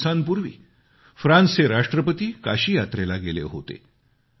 काही दिवसांपूर्वी फ्रान्सच्या राष्ट्रपतीनीं काशी इथे भेट दिली